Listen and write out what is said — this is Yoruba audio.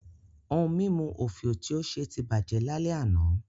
Ohun mímu òfìò tí ó ṣe ti bàjẹ́ lálẹ́ àná